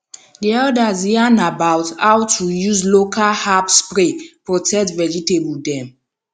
di elders yarn about how to use local herb spray protect vegetable dem